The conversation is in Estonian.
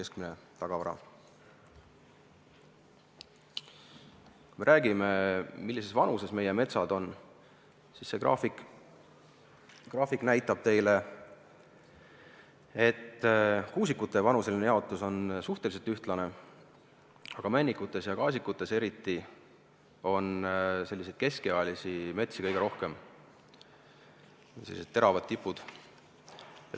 Kui räägime sellest, millises vanuses meie metsad on, siis see graafik näitab teile, et kuusikute vanuseline jaotus on suhteliselt ühtlane, aga männikute ja kaasikute hulgas on kõige rohkem keskealisi metsi – siin on näha sellised teravad tipud.